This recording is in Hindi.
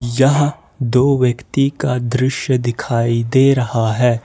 यह दो व्यक्ति का दृश्य दिखाई दे रहा है।